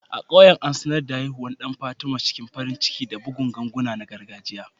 A ƙauyen, an sanar da haihuwar ɗan Fatima cikin farin ciki da bugun ganguna na gargajiya.